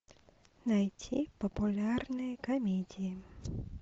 найти популярные комедии